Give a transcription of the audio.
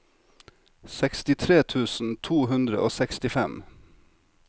sekstitre tusen to hundre og sekstifem